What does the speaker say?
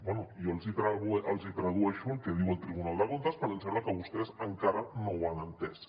doncs bé jo els tradueixo el que diu el tribunal de comptes perquè em sembla que vostès encara no ho han entès